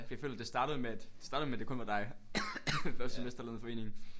Fordi jeg føler det startede med at det startede med det kun var dig det første semester lavede en forening